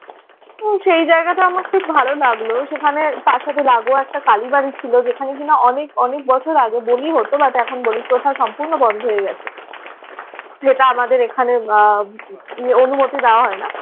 উম সে জায়গাটা আমার খুব ভালো লাগলো। সেখানে তার সাথে লাগোয়া একটা কালীবাড়ি ছিল। যেখানে কিনা অনেক অনেক বছর আগে বলি হত। but এখন বলি প্রথা সম্পূর্ণ বন্ধ হয়ে গেছে। সেটা আমাদের এখানে আহ অনুমতি দেওয়া হয় না।